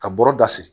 Ka bɔrɔ da siri